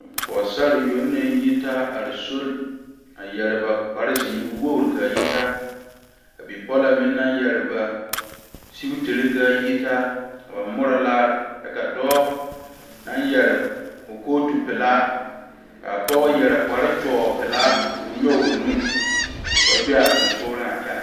pɔgesera yoŋ naŋ yitaa are so a yeere ba kpare ziiri kaa yitaa wogre kaa yitaa ka bipole meŋ naŋ yeere ba sigetire kaa yitaa ka ba more laare kyɛ ka dɔɔ naŋ yeere o kootu pelaa kaa pɔge yeere kpare kyɔɔ pelaa ko'o nyoŋ o nu ka ba be a sonsogle a kyɛne.